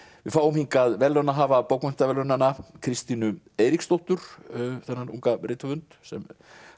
við fáum hingað verðlaunahafa bókmenntaverðlaunanna Kristínu Eiríksdóttur þennan unga rithöfund sem